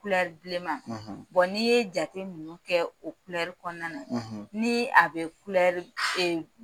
Kulɛri bilen ma n'i ye jate ninnu kɛ o kulɛri kɔnɔna na ni a bɛ kulɛri